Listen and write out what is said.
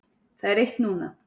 Það er eitt núna.